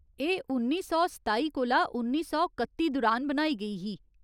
एह् उन्नी सौ सताई कोला उन्नी सौ कत्ती दुरान बनाई गेई ही।